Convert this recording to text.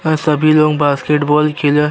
अ सभी लोग basketball खेल --